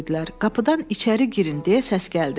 Qapıdan içəri girin deyə səs gəldi.